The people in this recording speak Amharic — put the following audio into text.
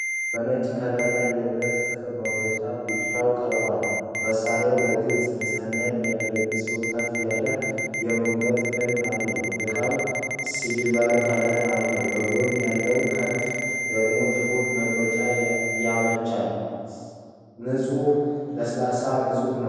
በነጭ ከለር ላይ የብረት ጥፍር መቁረጫ ብቻውን ቀርቧል። መሣሪያው ለግል ንፅህና የሚያገለግል ሲሆን ከፍ ያለ የመቁረጥ ክንድ አለው። እቃው ሲልቨር ከለር አለው፤ በጎን ያለው ክንፍ ደግሞ ጥፍር ለመቁረጥ ያመቻል። ቅርጹ ለስላሳና ንፁህ ነው።